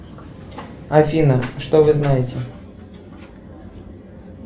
афина что вы знаете